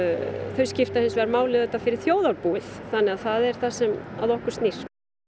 þau skipta hins vegar máli fyrir þjóðarbúið þannig að það er það sem að okkur snýr